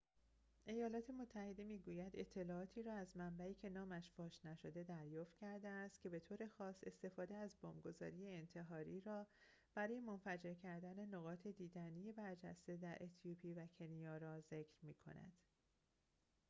ایالات متحده می‌گوید اطلاعاتی را از منبعی که نامش فاش نشده دریافت کرده است که به‌طور خاص استفاده از بمب‌گذاران انتحاری را برای منفجر کردن نقاط دیدنی برجسته در اتیوپی و کنیا را ذکر می‌کند